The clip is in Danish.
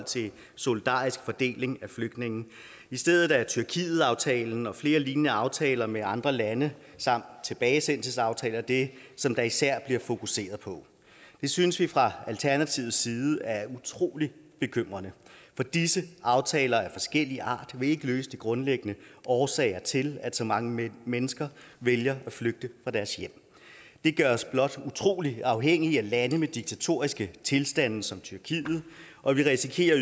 til solidarisk fordeling af flygtninge i stedet er tyrkietaftalen og flere lignende aftaler med andre lande samt tilbagesendelsesaftaler det som der især bliver fokuseret på det synes vi fra alternativets side er utrolig bekymrende for disse aftaler af forskellig art vil ikke løse de grundlæggende årsager til at så mange mennesker vælger at flygte fra deres hjem det gør os blot utrolig afhængige af lande med diktatoriske tilstande som tyrkiet og vi risikerer